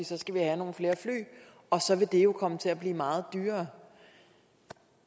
så skal vi have nogle flere fly og så vil det jo komme til at blive meget dyrere